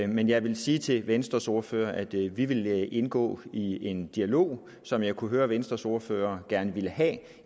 men jeg vil sige til venstres ordfører at vi vil indgå i en dialog som jeg kunne høre at venstres ordfører gerne vil have